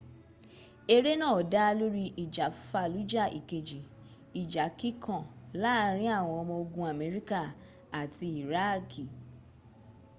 eré náà dá lórí ìjà fallujah ìkejì ìjà kíkan láàrín àwọn ọmọ ogun amerika àti iraaki